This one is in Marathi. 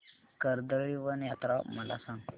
कर्दळीवन यात्रा मला सांग